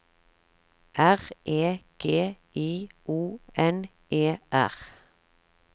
R E G I O N E R